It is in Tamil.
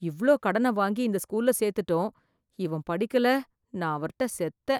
இவ்ளோ கடன வாங்கி இந்த ஸ்கூல்ல சேத்துட்டோம், இவன் படிக்கல நான் அவர்ட்ட செத்தேன்.